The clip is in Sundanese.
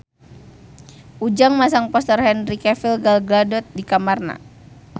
Ujang masang poster Henry Cavill Gal Gadot di kamarna